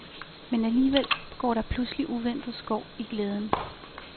Men alligevel går der pludselig uventet skår i glæden.